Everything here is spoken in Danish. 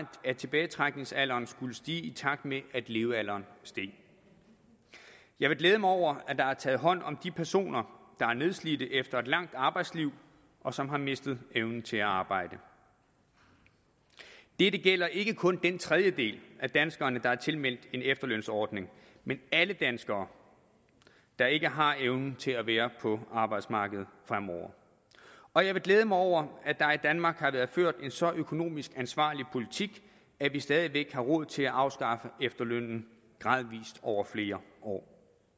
at tilbagetrækningsalderen skulle stige i takt med at levealderen steg jeg vil glæde mig over at der er taget hånd om de personer der er nedslidt efter et langt arbejdsliv og som har mistet evnen til at arbejde dette gælder ikke kun den tredjedel af danskerne der er tilmeldt en efterlønsordning men alle danskere der ikke har evnen til at være på arbejdsmarkedet fremover og jeg vil glæde mig over at der i danmark har været ført en så økonomisk ansvarlig politik at vi stadig væk har råd til at afskaffe efterlønnen gradvis over flere år